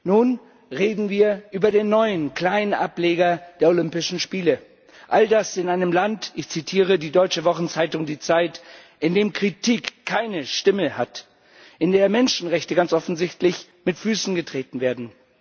Nun reden wir über den neuen kleinen Ableger der Olympischen Spiele all das in einem Land ich zitiere die deutsche Wochenzeitung Die Zeit in dem Kritik keine Stimme hat, in dem Menschenrechte ganz offensichtlich mit Füßen getreten werden.